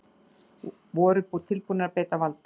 Voru tilbúnir að beita valdi